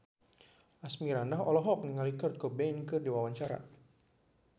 Asmirandah olohok ningali Kurt Cobain keur diwawancara